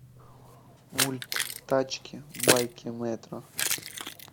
мульт тачки байки мэтра